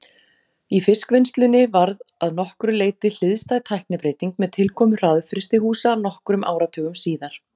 Í fiskvinnslu varð að nokkru leyti hliðstæð tæknibreyting með tilkomu hraðfrystihúsa nokkrum áratugum síðar.